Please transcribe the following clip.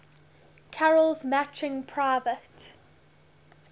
carol's matching private